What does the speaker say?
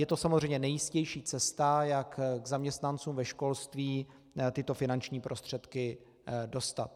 Je to samozřejmě nejjistější cesta, jak k zaměstnancům ve školství tyto finanční prostředky dostat.